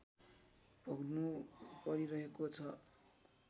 भोग्नु परिरहेको छ